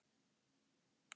Gabríella